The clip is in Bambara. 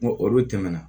N ko olu tɛmɛna